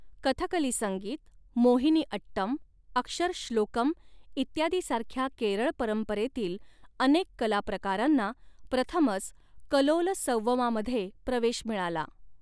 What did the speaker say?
कथकली संगीत, मोहिनीअट्टम, अक्षरश्लोकम इत्यादी सारख्या केरळ परंपरेतील अनेक कलाप्रकारांना प्रथमच कलोलसंवमामध्ये प्रवेश मिळाला.